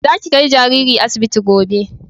Za ki kai jariri asibiti gobe!